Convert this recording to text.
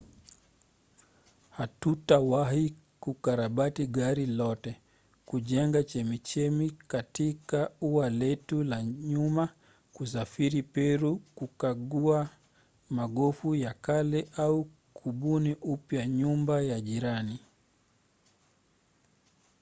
hatutawahi kukarabati gari lote kujenga chemchemi katika ua letu la nyuma kusafiri peru kukagua magofu ya kale au kubuni upya nyumba ya jirani